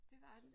Det var den